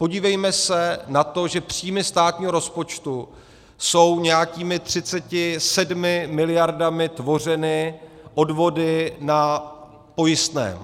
Podívejme se na to, že příjmy státního rozpočtu jsou nějakými 37 miliardami tvořeny odvody na pojistném.